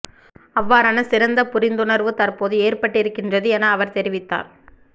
அவ்வாறான சிறந்த புரிந்துணர்வு தற்போது ஏற்பட்டிருக்கின்றது என அவர் தெரிவித்தார்